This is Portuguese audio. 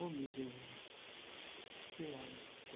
Oh, meu Deus! As três lágrimas